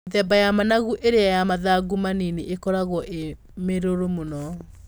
Mĩthemba ya managu ĩrĩa ya mathangũ manini ĩkoragwo ĩ mĩrũrũ mũno.